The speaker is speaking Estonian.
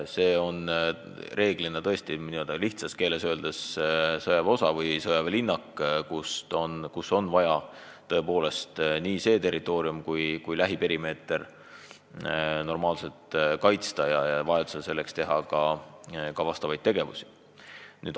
See on reeglina n-ö lihtsas keeles öeldes sõjaväeosa või sõjaväelinnak, kus on vaja nii seda territooriumi kui lähiperimeetrit normaalselt kaitsta ja vajadusel selle nimel ka tegutseda.